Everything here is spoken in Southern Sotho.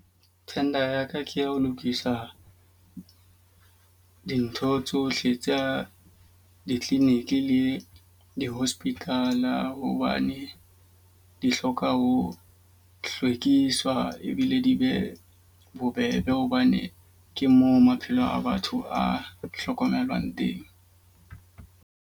Tender ya ka ke ya ho lokisa dintho tsohle tsa di-clinic le di-hospital. Hobane di hloka ho hlwekiswa ebile di be bobebe hobane ke moo maphelo a batho a hlokomelwang teng.